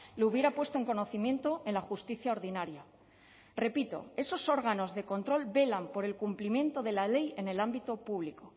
lo hubiera puesto en conocimiento en la justicia ordinaria repito esos órganos de control velan por el cumplimiento de la ley en el ámbito público